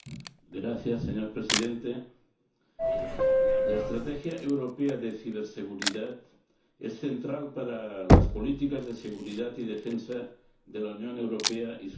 Señor Presidente, la estrategia europea de ciberseguridad es central para las políticas de seguridad y defensa de la Unión Europea y sus miembros.